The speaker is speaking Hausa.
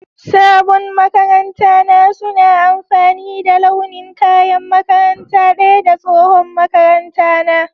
sabon maƙaranta na suna amfani da launin kaƴan makaranta daƴa da tsohon maƙaranta na